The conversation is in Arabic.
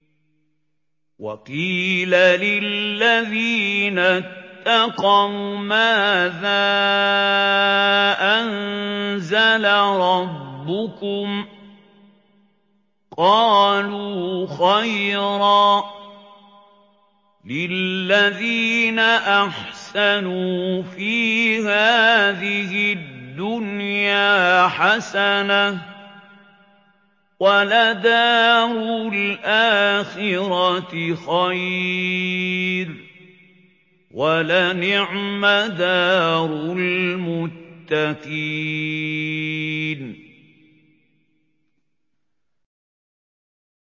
۞ وَقِيلَ لِلَّذِينَ اتَّقَوْا مَاذَا أَنزَلَ رَبُّكُمْ ۚ قَالُوا خَيْرًا ۗ لِّلَّذِينَ أَحْسَنُوا فِي هَٰذِهِ الدُّنْيَا حَسَنَةٌ ۚ وَلَدَارُ الْآخِرَةِ خَيْرٌ ۚ وَلَنِعْمَ دَارُ الْمُتَّقِينَ